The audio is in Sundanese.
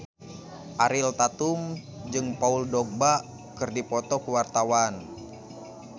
Ariel Tatum jeung Paul Dogba keur dipoto ku wartawan